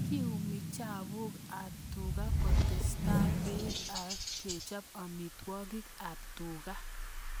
Kiumi chapuk ab tuga ketesta peek ak kechop amitwogik ab tuga